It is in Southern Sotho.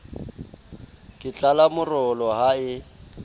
ke tlala morolo ha e